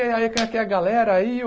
E aí, quem é que é a galera aí?